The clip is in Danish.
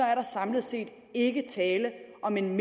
er der samlet ikke tale om en